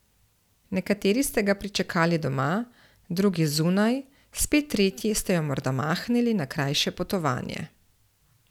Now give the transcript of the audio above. Nekateri ste ga pričakali doma, drugi zunaj, spet tretji ste jo morda mahnili na krajše potovanje.